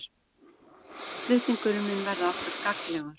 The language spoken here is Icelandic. Flutningurinn mun verða okkur gagnlegur